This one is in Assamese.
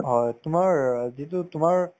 হয়, তোমাৰ অ যিটো তোমাৰ